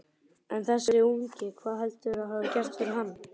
En þessi ungi, hvað heldurðu að hafi gerst fyrir hann?